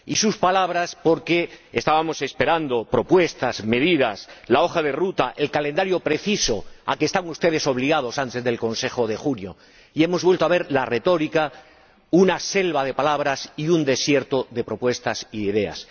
Y sus palabras, porque estábamos esperando propuestas, medidas, la hoja de ruta, el calendario preciso a que están ustedes obligados antes del Consejo de junio, y hemos vuelto a ver la retórica, una selva de palabras y un desierto de propuestas y de ideas.